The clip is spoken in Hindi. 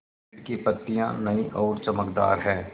पेड़ की पतियां नई और चमकदार हैँ